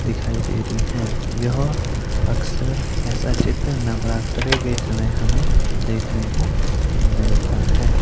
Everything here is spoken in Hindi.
दिखाई दे रही है। यह अक्सर ऐसा चित्र नवरात्रे के समय हमें देखने को मिलता है।